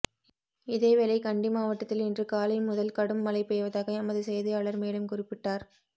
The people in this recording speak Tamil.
இதேவேளை கண்டி மாவட்டத்தில் இன்று காலைமுதல் கடும் மழை பெய்வதாக எமது செய்தியாளர் மேலும் குறிப்பிட்டார்